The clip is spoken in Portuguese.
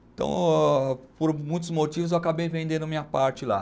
Então, por muitos motivos, eu acabei vendendo minha parte lá.